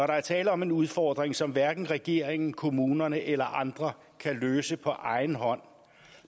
der er tale om en udfordring som hverken regeringen kommunerne eller andre kan løse på egen hånd